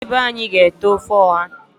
Ndi be anyi ga ete ofe oha taa.